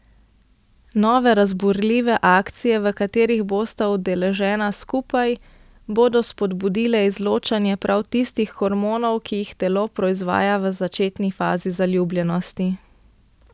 Nove, razburljive akcije, v katerih bosta udeležena skupaj, bodo spodbudile izločanje prav tistih hormonov, ki jih telo proizvaja v začetni fazi zaljubljenosti.